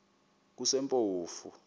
kusempofu